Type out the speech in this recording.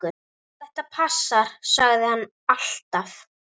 Geturðu alls ekki verið lengur?